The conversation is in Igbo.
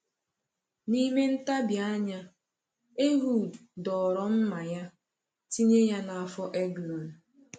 N’ime ntabi anya, Ehud dọrọ mma ya, tinye ya n’afọ Eglon.